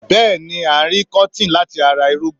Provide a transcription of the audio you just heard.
Bẹ́ẹ̀ni arin Kọ́tìn láti ara irúgbìn